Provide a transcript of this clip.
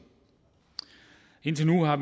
at